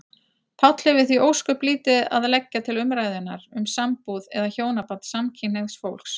Páll hefur því ósköp lítið að leggja til umræðunnar um sambúð eða hjónaband samkynhneigðs fólks.